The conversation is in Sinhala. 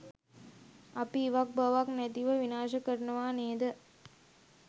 අපි ඉවක් බවක් නැතිව විනාශ කරනවා නේද?